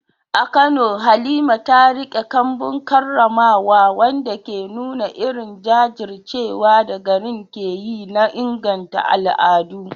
A Kano, Halima ta riƙe kambun karramawa, wanda ke nuna irin jajircewar da garin ke yi na inganta al’adu.